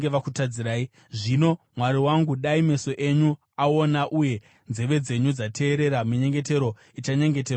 “Zvino Mwari wangu, dai meso enyu aona uye nzeve dzenyu dzateerera minyengetero ichanyengeterwa panzvimbo iyi.